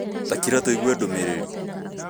Takira tũigue ndũmĩrĩri